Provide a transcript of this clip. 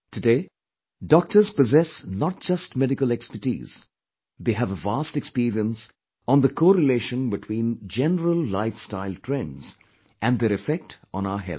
Today, doctors possess not just medical expertise; they have a vast experience on the co relation between general lifestyle trends and their effect on our health